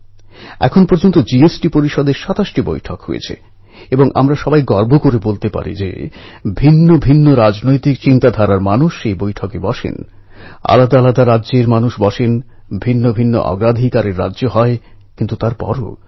কিছুদিন আগে ফিনল্যাণ্ডে অনুষ্ঠিত জুনিয়র অনূর্ধ্ব কুড়ি বিশ্ব অ্যাথলেটিক্স চ্যাম্পিয়নশিপে ৪০০ মিটারের দৌড়ে ভারতের বাহাদুর কন্যা কিষাণকন্যা হিমা দাস স্বর্ণপদক জিতে ইতিহাস